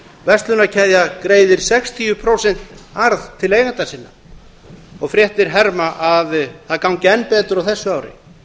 verslunarkeðja greiðir sextíu prósent arð til eigenda sinna og fréttir herma að það gangi enn betur á þessu ári